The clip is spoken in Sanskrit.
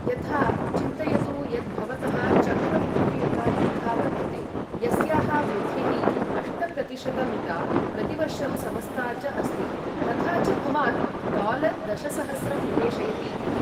यथा, चिन्तयतु यत् भवतः चक्रवृद्धियुता लेखा वर्तते यस्याः वृद्धिः अष्ट प्रतिशत मिता, प्रतिवर्षं समस्ता च अस्ति, तथा च भवान् डालार दशसहस्रं निवेशयति इति।